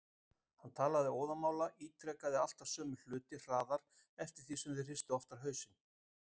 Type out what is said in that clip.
Hann talaði óðamála, ítrekaði alltaf sömu hluti hraðar eftir því sem þau hristu oftar hausinn.